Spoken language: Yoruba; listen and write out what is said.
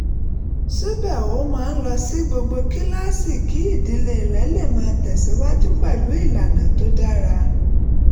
síbẹ̀ ó máa ń lọ sí gbogbo kíláàsì kí ìdílé rẹ̀ lè máa tẹ̀síwájú pẹ̀lú ìlànà tó dára